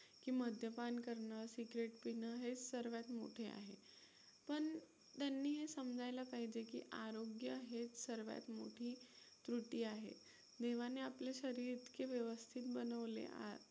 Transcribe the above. की मद्यपान करणं, cigarette पिणं हे सर्वात मोठे आहे. पण त्यांनी हे समजायला पाहिजे की आरोग्य हेच सर्वात मोठी त्रुटी आहे. देवाने आपले शरीर इतके व्यवस्थित बनवले